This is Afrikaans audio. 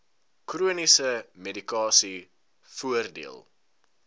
chroniese medikasie voordeel